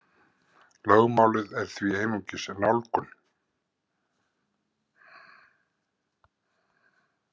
Lögmálið er því einungis nálgun.